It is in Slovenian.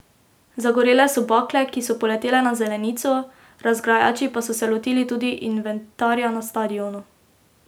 Zagorele so bakle, ki so poletele na zelenico, razgrajači pa so se lotili tudi inventarja na stadionu.